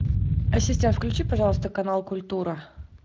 ассистент включи пожалуйста канал культура